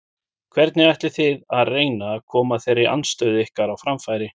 Hvernig ætlið þið að reyna að koma þeirri andstöðu ykkar á framfæri?